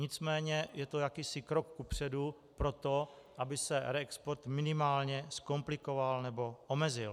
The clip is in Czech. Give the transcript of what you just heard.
Nicméně je to jakýsi krok kupředu pro to, aby se reexport minimálně zkomplikoval nebo omezil.